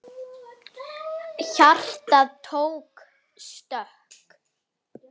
Hjartað tók stökk!